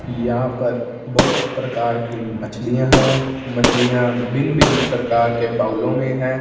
यहां पर बहुत प्रकार की मछलियां है। मछलियां भिन्न-भिन्न प्रकार के बाउलों में है।